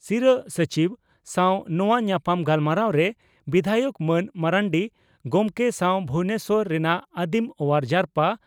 ᱥᱤᱨᱟᱹ ᱥᱚᱪᱤᱵᱽ ᱥᱟᱣ ᱱᱚᱣᱟ ᱧᱟᱯᱟᱢ ᱜᱟᱞᱢᱟᱨᱟᱣᱨᱮ ᱵᱤᱫᱷᱟᱭᱚᱠ ᱢᱟᱱ ᱢᱟᱹᱨᱰᱤ ᱜᱚᱢᱠᱮ ᱥᱟᱣ ᱵᱷᱩᱵᱚᱱᱮᱥᱚᱨ ᱨᱮᱱᱟᱜ ᱟᱹᱫᱤᱢ ᱚᱣᱟᱨ ᱡᱟᱨᱯᱟ